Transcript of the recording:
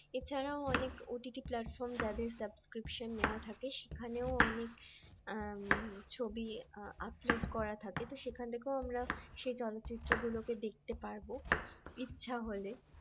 এছাড়া অনেক OTT platform যাদের subscription নেওয়া থাকে সেখানেও অনেক ছবি upload করা থাকে তো সেখান থেকেও আমরা সেই চলচ্চিত্র গুলোকে দেখতে পারবো ইচ্ছা হলে